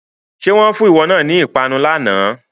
Ṣé wọn fún ìwọ náà ni ìpanu lànà?